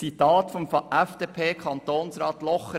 Ein Zitat von FDP-Kantonsrat Locher